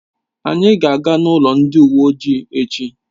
Anyị ga aga n'ụlọ ndị uwe ojii echi